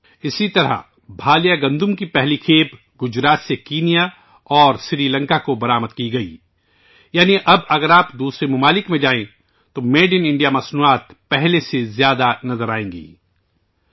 اسی طرح بھالیا گیہوں کی پہلی کھیپ گجرات سے کینیا اور سری لنکا کو برآمد کی گئی یعنی اب اگر آپ دوسرے ممالک میں جائیں تو میڈ ان انڈیا مصنوعات پہلے کے مقابلے کہیں زیادہ نظر آئیں گی